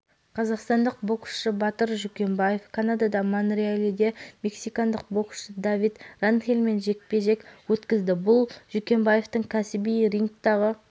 қазақстандық боксшы батыр жүкембаев канадада монреаледе мексикандық боксшы давид ранхельмен жекпе-жек өткізді бұл жүкембаевтың кәсіби рингтағы